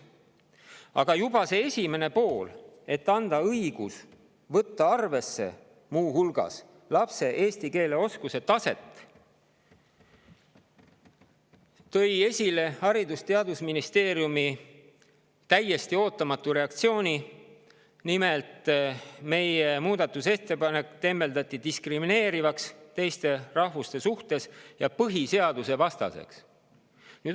selle ettepaneku esimene pool, mis annab õiguse võtta muu hulgas arvesse lapse eesti keele oskuse taset, esile Haridus- ja Teadusministeeriumi täiesti ootamatu reaktsiooni: meie muudatusettepanek tembeldati teiste rahvuste suhtes diskrimineerivaks ja põhiseadusevastaseks.